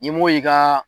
Ni m'o y'i ka